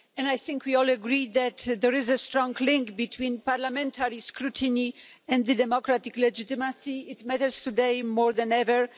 I think we all agree that there is a strong link between parliamentary scrutiny and democratic legitimacy this matters today more than ever.